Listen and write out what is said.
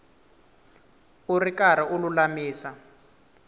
u ri karhi u lulamisa